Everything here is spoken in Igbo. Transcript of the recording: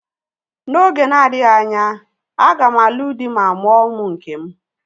N'oge na-adịghị anya, aga m alụ dị ma mụọ ụmụ nkem